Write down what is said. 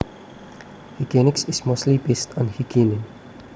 Hygienics is mostly based on hygiene